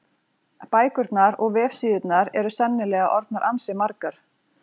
Bækurnar og vefsíðurnar eru sennilega orðnar ansi margar.